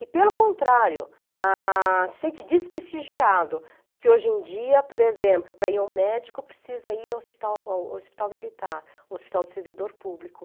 E pelo contrário, ah, se sente desprestigiado, porque hoje em dia, por exemplo, para ir ao médico precisa ir ao hospital ao hospital militar, hospital de servidor público.